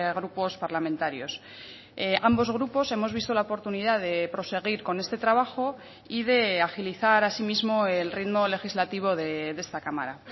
grupos parlamentarios ambos grupos hemos visto la oportunidad de proseguir con este trabajo y de agilizar asimismo el ritmo legislativo de esta cámara